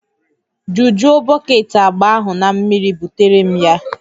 Jujuo bọket agba ahụ na mmiri butere m ya